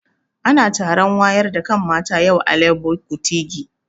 Ana taron wayar da kan mata yau a Legbo Kutigi